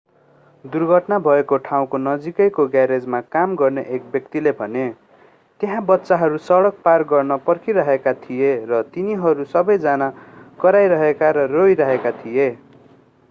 दुर्घटना भएको ठाउँको नजिकैको ग्यारेजमा काम गर्ने एक व्यक्तिले भने त्यहाँ बच्चाहरू सडक पार गर्न पर्खिरहेका थिए र तिनीहरू सबै जना कराइरहेका र रोइरहेका थिए